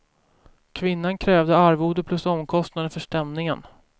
Kvinnan krävde arvode plus omkostnader för stämningen.